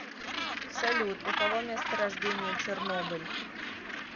салют у кого место рождения чернобыль